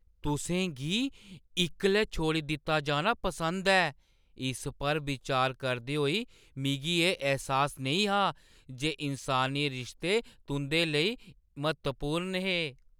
तुसें गी इक्कले छोड़ी दित्ता जाना पसंद ऐ, इस पर बिचार करदे होई मिगी एह् ऐह्सास नेईं हा जे इन्सानी रिश्ते तुंʼदे लेई म्हत्तवपूर्ण हे।